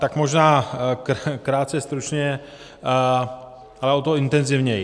Tak možná krátce, stručně, ale o to intenzivněji.